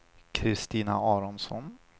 Kristina Aronsson